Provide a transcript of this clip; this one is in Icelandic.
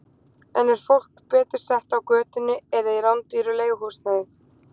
En er fólk betur sett á götunni eða í rándýru leiguhúsnæði?